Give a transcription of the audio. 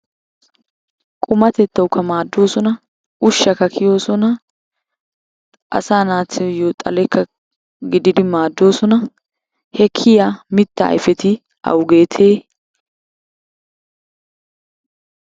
Qumatettawukka maaddoosona ushshakka kiyoosona asaa naatuyyo xalekka godidi maaddoosona he kiyiya mittaa ayfeti awugeetee?